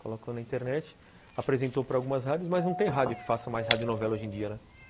Colocou na internet, apresentou para algumas rádios, mas não tem rádio que faça mais radionovela hoje em dia, né?